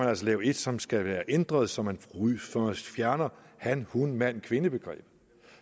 lave et som skal være ændret så man fjerner han hun mand kvinde begrebet